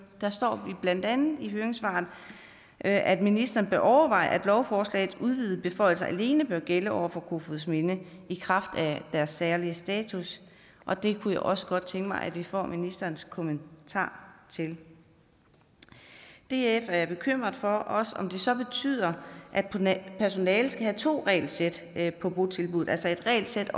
der står blandt andet i høringssvaret at at ministeren bør overveje at lovforslagets udvidede beføjelser alene bør gælde over for kofoedsminde i kraft af deres særlige status og det kunne jeg også godt tænke mig at vi får ministerens kommentar til df er bekymret for om det så betyder at personalet skal have to regelsæt på botilbuddet altså et regelsæt